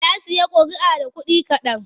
Ya sayi ƙuri'a da kuɗi kaɗan.